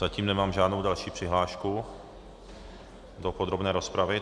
Zatím nemám žádnou další přihlášku do podrobné rozpravy.